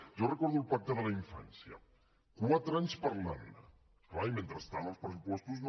jo recordo el pacte de la infància quatre anys parlant ne clar i mentrestant els pressupostos no